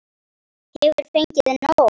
Hefur fengið nóg!